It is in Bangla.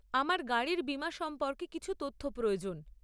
আমার গাড়ির বীমা সম্পর্কে কিছু তথ্য প্রয়োজন।